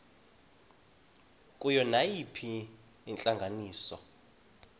kuyo nayiphina intlanganiso